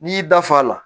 N'i y'i da f'a la